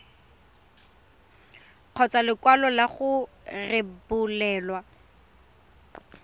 kgotsa lekwalo la go rebolelwa